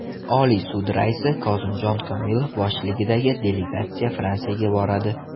Oliy sud raisi Kozimjon Komilov boshchiligidagi delegatsiya Fransiyaga boradi.